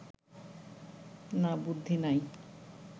না বুদ্ধি নাই